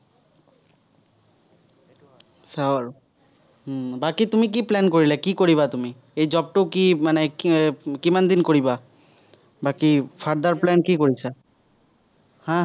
চাঁও আৰু। উম বাকী তুমি কি plan কৰিলা? কি কৰিবা তুমি? এই job টো কি? মানে, কিমান দিন কৰিবা? বাকী further plan কি কৰিছা? হম হম